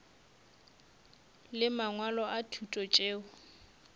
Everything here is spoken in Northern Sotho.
le mangwalo a thuto tšeo